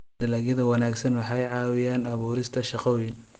Dalagyada wanaagsani waxay ka caawiyaan abuurista shaqooyin.